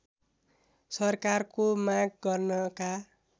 सरकारको माग गर्नका